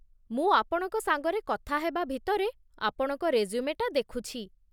ମୁଁ ଆପଣଙ୍କ ସାଙ୍ଗରେ କଥା ହେବା ଭିତରେ ଆପଣଙ୍କ ରେଜ୍ୟୁମେଟା ଦେଖୁଛି ।